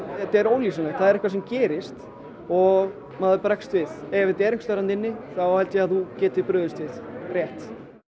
þetta er ólýsanlegt það er eitthvað sem gerist og maður bregst við ef þetta er einhvers staðar þarna inni þá held ég að maður geti brugðist við rétt